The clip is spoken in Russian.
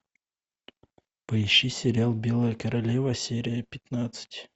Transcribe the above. поищи сериал белая королева серия пятнадцать